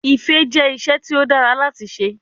Ifẹ jẹ iṣẹ ti o dara lati ṣe